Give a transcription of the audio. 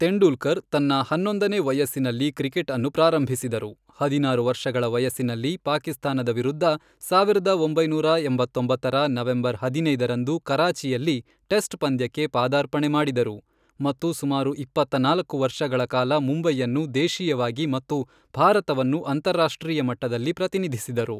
ತೆಂಡೂಲ್ಕರ್ ತನ್ನ ಹನ್ನೊಂದನೇ ವಯಸ್ಸಿನಲ್ಲಿ ಕ್ರಿಕೆಟ್ ಅನ್ನು ಪ್ರಾರಂಭಿಸಿದರು, ಹದಿನಾರು ವರ್ಷಗಳ ವಯಸ್ಸಿನಲ್ಲಿ ಪಾಕಿಸ್ತಾನದ ವಿರುದ್ಧ ಸಾವಿರದ ಒಂಬೈನೂರ ಎಂಬತ್ತೊಂಬತ್ತರ ನವೆಂಬರ್ ಹದಿನೈದು ರಂದು ಕರಾಚಿಯಲ್ಲಿ ಟೆಸ್ಟ್ ಪಂದ್ಯಕ್ಕೆ ಪಾದಾರ್ಪಣೆ ಮಾಡಿದರು, ಮತ್ತು ಸುಮಾರು ಇಪ್ಪತ್ತನಾಲ್ಕು ವರ್ಷಗಳ ಕಾಲ ಮುಂಬೈಯನ್ನು ದೇಶೀಯವಾಗಿ ಮತ್ತು ಭಾರತವನ್ನು ಅಂತಾರರಾಷ್ಟ್ರೀಯ ಮಟ್ಟದಲ್ಲಿ ಪ್ರತಿನಿಧಿಸಿದರು.